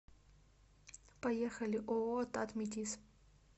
поехали ооо татметиз